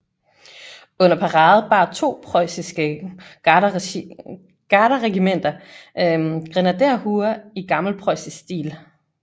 Under parade bar to preussiske garderegimenter grenaderhuer i gammelpreussisk stil